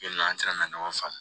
Yan nɔ an taara na ɲɔgɔn faamu